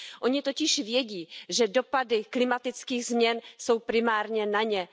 Oni totiž vědí, že dopady klimatických změn jsou primárně na ně.